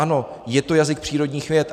Ano, je to jazyk přírodních věd.